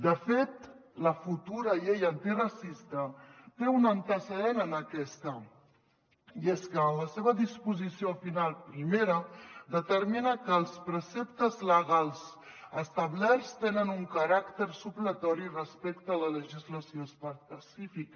de fet la futura llei antiracista té un antecedent en aquesta i és que en la seva disposició final primera determina que els preceptes legals establerts tenen un caràcter supletori respecte a la legislació específica